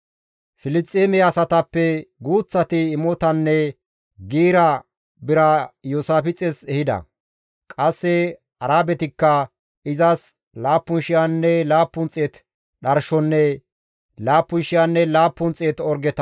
Filisxeeme asatappe guuththati imotanne giira bira Iyoosaafixes ehida; qasse Arabetikka izas 7,700 dharshonne 7,700 orgeta ehida.